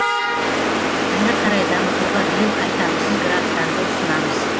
әрі қарай дамытуға биыл қайтарымсыз гранттарды ұсынамыз